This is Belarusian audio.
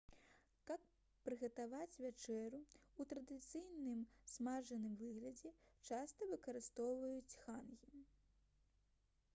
каб прыгатаваць вячэру ў традыцыйным смажаным выглядзе часта выкарыстоўваюць хангі